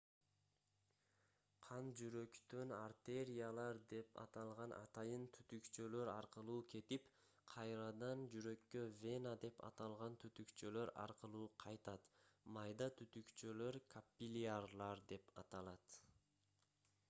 кан жүрөктөн артериялар деп аталган атайын түтүкчөлөр аркылуу кетип кайрадан жүрөккө вена деп аталган түтүкчөлөр аркылуу кайтат майда түтүкчөлөр каппилярлар деп аталат